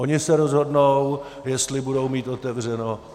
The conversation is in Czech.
Oni se rozhodnou, jestli budou mít otevřeno.